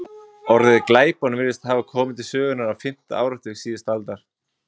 Orðið glæpon virðist hafa komið til sögunnar á fimmta áratug síðustu aldar.